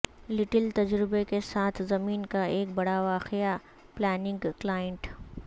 little تجربے کے ساتھ زمین کا ایک بڑا واقعہ پلاننگ کلائنٹ